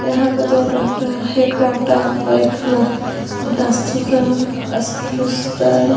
यहाँ पे तो डॉक्टर है। एक डॉक्टर एक